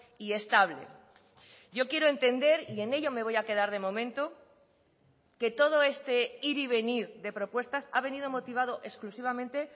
y estable yo quiero entender y en ello me voy a quedar de momento que todo este ir y venir de propuestas ha venido motivado exclusivamente